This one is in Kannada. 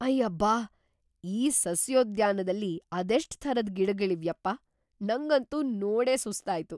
ಅಯ್ಯಬ್ಬಾ! ಈ ಸಸ್ಯೋದ್ಯಾನ್ದಲ್ಲಿ ಅದೆಷ್ಟ್ ಥರದ್‌ ಗಿಡಗಳಿವ್ಯಪ್ಪಾ, ನಂಗಂತೂ ನೋಡೇ ಸುಸ್ತಾಯ್ತು!